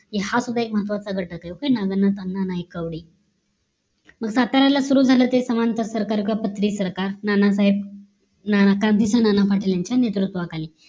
कीं हा पुढे एक महत्वाचं घटक आहे पक्ष नागनाथ अण्णा नाईकवाडे मग साताऱ्याला सुरु झाले ते समांतर सरकार गपच ते सरकार नानासाहेब आता नानानासाहेब पाटील यांच्या नेतृत्वाखाली